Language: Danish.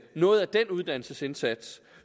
noget af den uddannelsesindsats